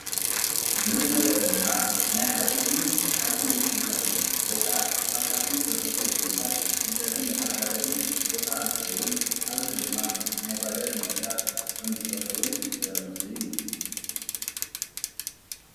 እዚ እንሪኦ ዘለና ናይ ሓፂንን ሓፂን ዉፅኢታትን ወይ ካዓ ካብ ሓፂን ዝተሰርሑ ዉፅኢታት መሸጥን መተዓዳደግን ቦታ እንትኸዉን ኣብዚ ድማ ናይ ባጃጅ ምቕጥቃጥ ከም ዝሰርሑን ዘርኢ ምስሊ እዩ።